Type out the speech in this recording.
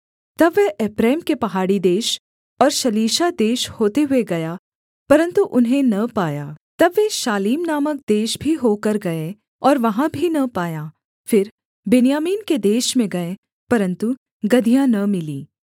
तब वह एप्रैम के पहाड़ी देश और शलीशा देश होते हुए गया परन्तु उन्हें न पाया तब वे शालीम नामक देश भी होकर गए और वहाँ भी न पाया फिर बिन्यामीन के देश में गए परन्तु गदहियाँ न मिलीं